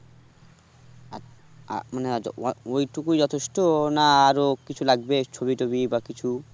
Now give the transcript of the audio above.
আ মানে অওই টুকু যথেষ্ট না আরো কিছু লাগবে ছবি-টোবি বা কিছু